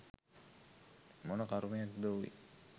මොන කරුමයක්ද ඕයි!